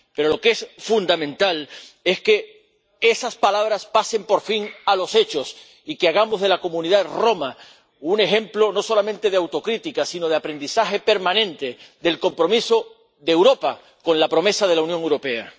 Pero lo que es fundamental es que de esas palabras se pase por fin a los hechos y que hagamos de la comunidad romaní un ejemplo no solamente de autocrítica, sino de aprendizaje permanente del compromiso de Europa con la promesa de la Unión Europea.